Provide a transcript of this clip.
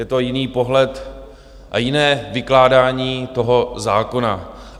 Je to jiný pohled a jiné vykládání toho zákona.